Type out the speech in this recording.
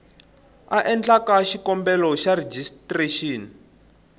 a endlaku xikombelo xa rejistrexini